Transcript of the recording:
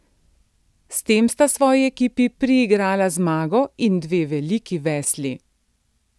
S tem sta svoji ekipi priigrala zmago in dve veliki vesli.